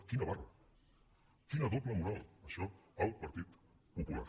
quina barra quina doble moral això el partit popular